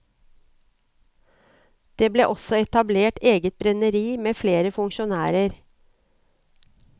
Det ble også etablert eget brenneri med flere funksjonærer.